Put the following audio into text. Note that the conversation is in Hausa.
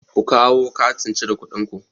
Ku kawo katin cire kuɗin ku!